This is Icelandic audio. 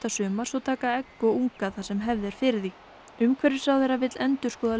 sumars og taka egg og unga þar sem hefð er fyrir því umhverfisráðherra vill endurskoða